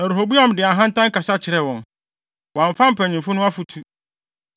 Na Rehoboam de ahantan kasa kyerɛɛ wɔn. Wamfa mpanyimfo no afotu,